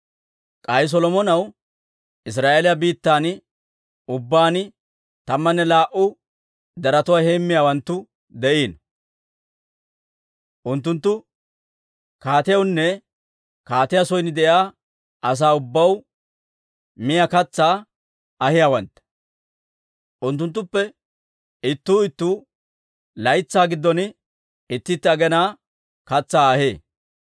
K'ay Solomonaw Israa'eeliyaa biittan ubbaan tammanne laa"u deretuwaa heemmiyaawanttu de'iino; unttunttu kaatiyawunne kaatiyaa son de'iyaa asaa ubbaw miyaa katsaa ahiyaawantta. Unttunttuppe ittuu ittuu laytsaa giddon itti itti aginaa katsaa ahee.